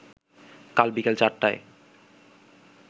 কাল বিকেল চারটায়